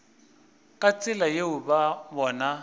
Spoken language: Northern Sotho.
ka tsela yeo ba bona